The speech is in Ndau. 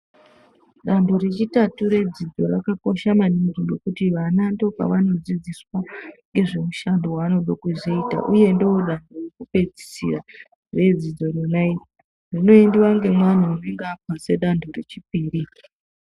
Danho rechitatu redzidzo Rakakosha maningi ngekuti vana ndo kwavanodzidziswa ngezvemushando waanode kuzoita uye ndodanho rekupedzisira redzidzo rona kunoendiwa ngaantu anenga apase dzanho rechipiri.